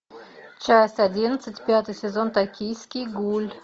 часть одиннадцать пятый сезон токийский гуль